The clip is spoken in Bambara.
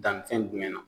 Dannifɛn jumɛn na